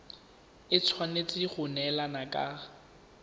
e tshwanetse go neelana ka